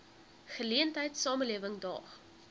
geleentheid samelewing daag